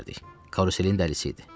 Karuselin dəlisi idi.